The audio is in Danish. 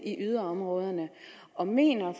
i yderområderne og mener